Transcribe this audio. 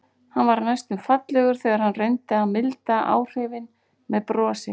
Hann varð næstum fallegur þegar hann reyndi að milda áhrifin með brosi.